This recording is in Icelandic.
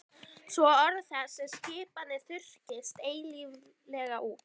Svo orð þess og skipanir þurrkist eilíflega út.